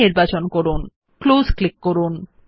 dialogue box বন্ধ করার জন্য ক্লোজ ক্লিক করুন